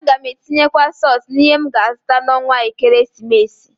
A gam atinyekwu sọs n'ihe m ga azụta n'ọnwa ekeresimesi.